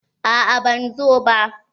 A'a bai zo ba.